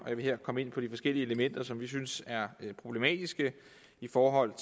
jeg vil her komme ind på de forskellige elementer som vi synes er problematiske i forhold